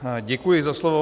Děkuji za slovo.